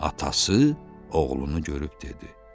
Atası oğlunu görüb dedi: